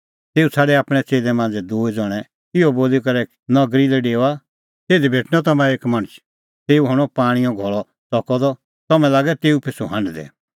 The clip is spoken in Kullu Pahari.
तेऊ छ़ाडै आपणैं च़ेल्लै मांझ़ै दूई ज़ण्हैं इहअ बोली करै नगरी लै डेओआ तिधी भेटणअ तम्हां एक मणछ तेऊ हणअ पाणींओ घल़अ च़कअ द तम्हैं लागै तेऊ पिछ़ू हांढदै